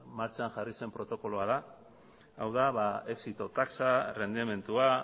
martxan jarri zen protokoloa da hau da exito tasa errendimendua